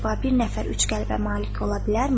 “Əcəba, bir nəfər üç qəlbə malik ola bilərmi?”